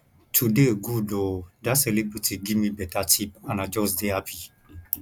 today good oo dat celebrity give me beta tip and i just dey happy